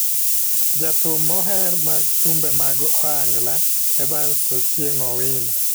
Ja thum moher mag thumbe mag ohangla, Evans Ocieng Owino,